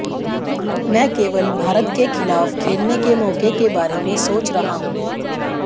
मैं केवल भारत के खिलाफ खेलने के मौके के बारे में सोच रहा हूं